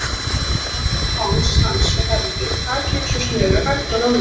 an um háls hans og herði takið eins og snöru, hægt og rólega.